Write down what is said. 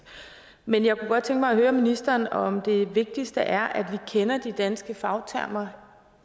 men jeg kunne godt tænke mig at høre ministeren om det vigtigste er at vi kender de danske fagtermer